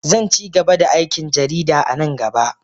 Zan ci gaba da aikin jarida a nan gaba